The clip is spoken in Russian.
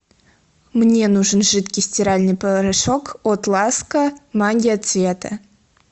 мне нужен жидкий стиральный порошок от ласка магия цвета